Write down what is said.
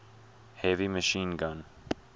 heavy machine gun